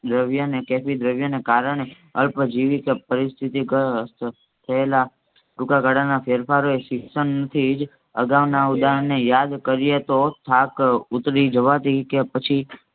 દ્રવ્યને કેટલી દ્રવ્ય ને કારણે અલ્પજીવી કે પરિસ્થિતિ થયેલ ટૂંકા ગાળાના ફેરફાર એ શિક્ષણ થી જ અગવના ઉદાહરણ ને યાદ કરીએ તો થાક ઉતારી જવાથી કે પછી